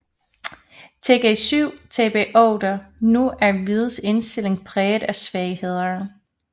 Tg7 Tb8 Nu er hvids stilling præget af svagheder